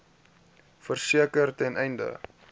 verseker ten einde